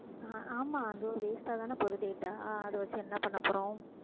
ஆஹ் ஆமா அது waste ஆ தானே போகுது data ஆஹ் அதை வச்சு என்ன பண்ண போறோம்